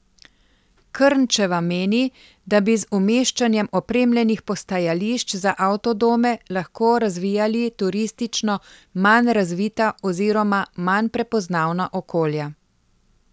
Krnčeva meni, da bi z umeščanjem opremljenih postajališč za avtodome lahko razvijali turistično manj razvita oziroma manj prepoznavna okolja.